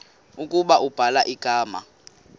ukuba ubhala igama